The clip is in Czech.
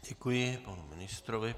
Děkuji panu ministrovi.